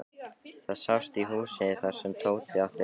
Það sást í húsið þar sem Tóti átti heima.